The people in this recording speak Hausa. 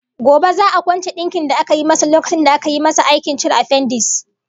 Gobe za'a kwance dinkin da aka yi masa lokacin da aka yi masa aikin cire afendis